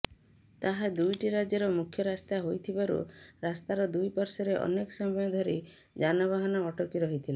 ତାହା ଦୁଇଟି ରାଜ୍ୟର ମୁଖ୍ୟ ରାସ୍ତା ହୋଇଥିବାରୁ ରାସ୍ତାର ଦୁଇପାଶ୍ୱର୍ରେ ଅନେକ ସମୟ ଧରି ଯାନବାହନ ଅଟକି ରହିଥିଲା